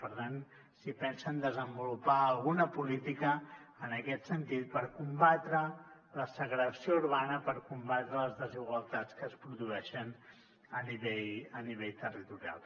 per tant si pensen desenvolupar alguna política en aquest sentit per combatre la segregació urbana per combatre les desigualtats que es produeixen a nivell territorial